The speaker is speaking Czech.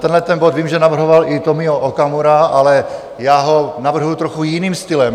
Tenhleten bod vím, že navrhoval i Tomio Okamura, ale já ho navrhuji trochu jiným stylem.